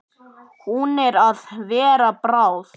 Hún er að verða bráð.